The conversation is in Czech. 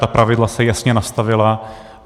Ta pravidla se jasně nastavila.